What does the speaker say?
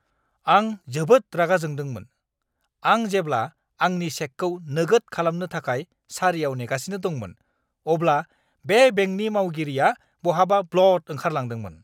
आं जोबोद रागा जोंदोंमोन, आं जेब्ला आंनि चेकखौ नोगोद खालामनो थाखाय सारियाव नेगासिनो दंमोन, अब्ला बे बेंकनि मावगिरिआ बहाबा ब्लद ओंखारलांदोंमोन!